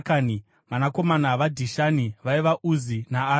Vanakomana vaDhishani vaiva: Uzi naArani.